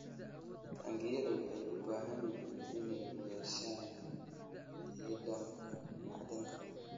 Taangiyada waxay u baahan yihiin inay yeeshaan nidaamka macdanta